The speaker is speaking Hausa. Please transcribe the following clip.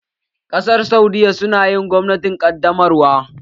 Ƙasar saudiyya su na yin gwamnatin ƙaddamarwa